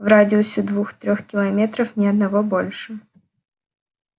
в радиусе двух-трёх километров ни одного больше